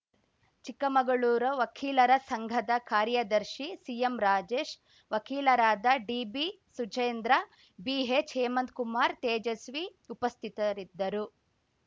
ಚಿಕ್ಕಮಗಳೂರು ವಕೀಲರ ಸಂಘದ ಕಾರ್ಯದರ್ಶಿ ಸಿಎಂ ರಾಜೇಶ್‌ ವಕೀಲರಾದ ಡಿಬಿ ಸುಜೇಂದ್ರ ಬಿಹೆಚ್‌ ಹೇಮಂತ್‌ಕುಮಾರ್‌ ತೇಜಸ್ವಿ ಉಪಸ್ಥಿತರಿದ್ದರು